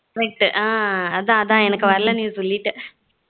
correct ஆஹ் அதான் அதான் எனக்கு வரல நீ சொல்லிட்ட